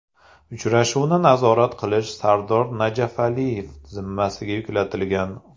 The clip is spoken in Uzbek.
Uchrashuvni nazorat qilish Sardor Najafaliyev zimmasiga yuklatilgan.